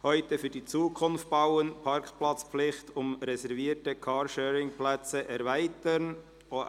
«Heute für die Zukunft bauen: Parkplatzpflicht um reservierte Car-Sharing-Plätze erweitern».